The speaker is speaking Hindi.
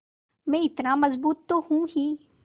मैं इतना मज़बूत तो हूँ ही